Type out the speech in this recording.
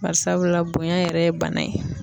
Bari sabula bonya yɛrɛ ye bana ye